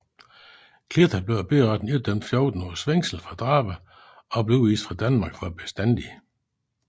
Clită blev af byretten idømt 14 års fængsel for drabet og blev udvist fra Danmark for bestandigt